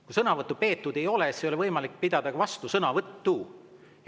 Kui sõnavõttu peetud ei ole, siis ei ole võimalik pidada ka vastusõnavõttu.